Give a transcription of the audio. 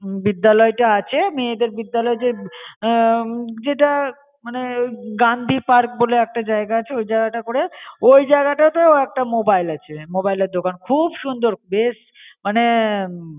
ভিদালয়টা আছে মেয়েদেড় ভিদালয় জে জেতা মনে ওই গণ্ডিপার্ক বলে একটা জায়গা আছে ওই জায়গাটা করে ওই জায়গাটা তেও একটা মোবাইল আছে, মোবাইলের দোকান কুব সুন্দর বেস মনে.